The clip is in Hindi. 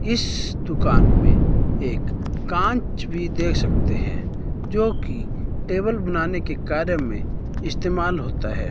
इस दुकान में एक कांच भी देख सकते हैं जोकि टेबल बनाने के कार्य में इस्तेमाल होता है।